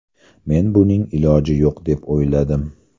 Men buning iloji yo‘q deb o‘yladim.